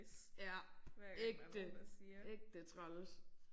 Ja ægte. Ægte træls